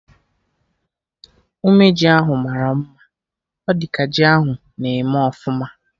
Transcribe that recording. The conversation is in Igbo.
Ume ji ahụ mara mma, ọ dị ka ji ahụ na-eme ọfụma